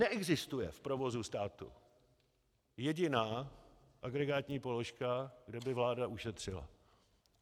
Neexistuje v provozu státu jediná agregátní položka, kde by vláda ušetřila.